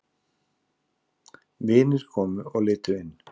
Vinir komu og litu inn.